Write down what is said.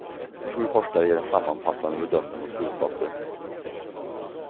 Sju forskare ger en sammanfattande bedömning och slutsatser.